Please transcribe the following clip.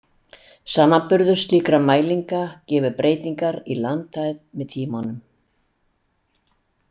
Samanburður slíkra mælinga gefur breytingar í landhæð með tímanum.